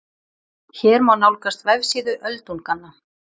Hér má nálgast vefsíðu Öldunganna